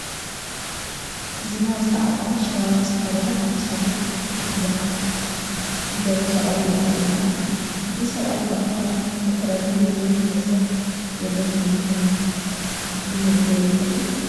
ዝናር ዝተዓጠቐ፣ ሽራራ ዝተኸደለ፣ ኣብ ክሳዱ ክሹፍ ዘሓንገበ ሰብኣይ ይርአየና ኣሎ፡፡ እዚ ሰብኣይ ብኣከዳድንኡ ናይ መን ብሄረሰብ ወገን ከምዝኾነ ክግደት ዶ ይኽእል?